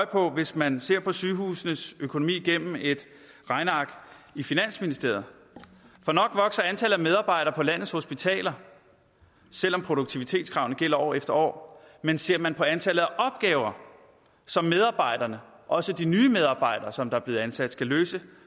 på hvis man ser på sygehusenes økonomi gennem et regneark i finansministeriet for nok vokser antallet af medarbejdere på landets hospitaler selv om produktivitetskravene gælder år efter år men ser man på antallet af opgaver som medarbejderne også nye medarbejdere som der er blevet ansat skal løse